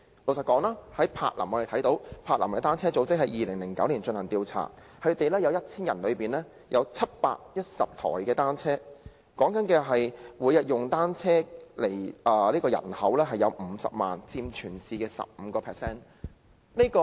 根據柏林的單車組織在2009年進行的調查，當地每 1,000 人便有710輛單車，每天使用單車的人口有50萬，佔全市的 15%。